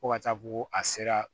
Fo ka taa fɔ ko a sera